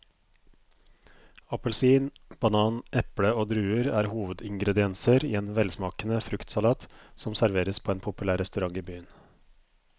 Appelsin, banan, eple og druer er hovedingredienser i en velsmakende fruktsalat som serveres på en populær restaurant i byen.